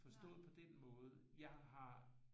Forstået på den måde jeg har